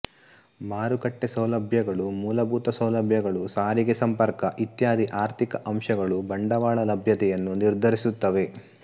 ಮಾರುಕಟ್ಟೆ ಸೌಲಭ್ಯಗಳು ಮೂಲಭೂತ ಸೌಲಭ್ಯಗಳು ಸಾರಿಗೆ ಸಂಪರ್ಕ ಇತ್ಯಾದಿ ಆರ್ಥಿಕ ಅಂಶಗಳು ಬಂಡವಾಳ ಲಭ್ಯತೆಯನ್ನು ನಿರ್ಧರಿಸುತ್ತವೆ